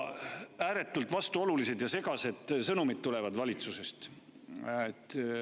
Ääretult vastuolulised ja segased sõnumid tulevad valitsusest.